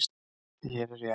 Því hér er ég enn.